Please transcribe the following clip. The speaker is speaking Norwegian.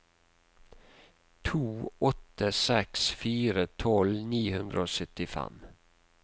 to åtte seks fire tolv ni hundre og syttifem